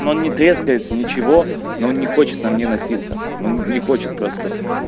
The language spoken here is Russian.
но не трескается ничего но не хочет на мне носиться он не хочет просто